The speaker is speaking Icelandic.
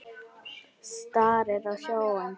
Starir á sjóinn.